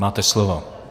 Máte slovo.